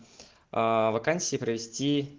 вакансии провести